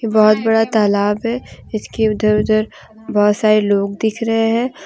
बहुत बड़ा तालाब है इसके उधर उधर बहुत सारे लोग दिख रहे हैं।